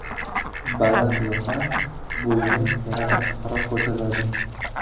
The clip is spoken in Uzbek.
Baland yoqa bo‘yni yanada qisqaroq ko‘rsatadi.